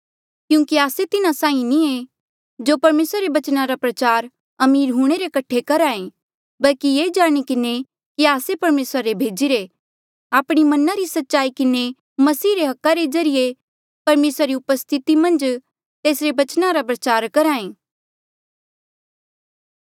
क्यूंकि आस्से तिन्हा साहीं नी ऐें जो परमेसरा रे बचना रा प्रचार अमीर हूंणे रे कठे करहा ऐें बल्की ये जाणी किन्हें कि आस्से परमेसरा रे भेजिरे आपणी मना री सच्चाई किन्हें मसीह रे हका रे ज्रीए परमेसरा री उपस्थिति मन्झ तेसरे बचना रा प्रचार करहा ऐें